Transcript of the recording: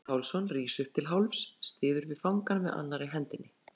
Sigurbjartur Pálsson rís upp til hálfs, styður við fangann með annarri hendinni.